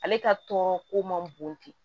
Ale ka tɔɔrɔ ko ma bon ten